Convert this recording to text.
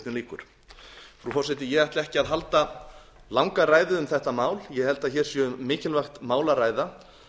frú forseti ég ætla ekki að halda langa ræðu um þetta mál ég held að hér sé um mikilvægt mál að ræða